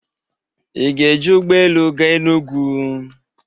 Ị ga-eji ụgbọ elu gaa Enugwu?